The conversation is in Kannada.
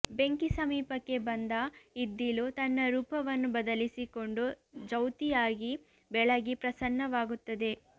ಬೆಂಕಿ ಸಮೀಪಕ್ಕೆ ಬಂದ ಇದ್ದಿಲು ತನ್ನ ರೂಪವನ್ನು ಬದಲಿಸಿಕೊಂಡು ಜ್ಯೌತಿಯಾಗಿ ಬೆಳಗಿ ಪ್ರಸನ್ನವಾಗುತ್ತದೆ